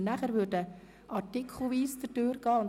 Anschliessend würden wir absatzweise beraten.